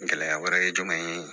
Gɛlɛya wɛrɛ ye jumɛn ye